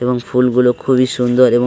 এবং ফুলগুলো খুবই সুন্দর এবং --